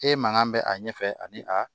E mankan bɛ a ɲɛfɛ ani a